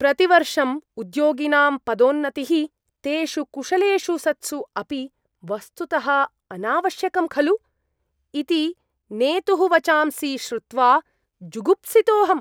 प्रतिवर्षं उद्योगिनां पदोन्नतिः, तेषु कुशलेषु सत्सु अपि वस्तुतः अनावश्यकं खलु? इति नेतुः वचांसि श्रुत्वा जुगुप्सितोऽहम्।